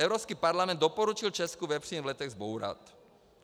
Evropský parlament doporučil Česku vepřín v Letech zbourat.